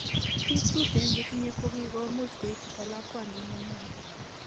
Biik tuten chetinye kokiko much koitita lakwandit nenywan